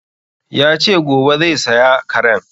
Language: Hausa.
Yace gobe zai saya karen